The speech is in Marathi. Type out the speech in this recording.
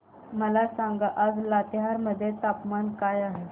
मला सांगा आज लातेहार मध्ये तापमान काय आहे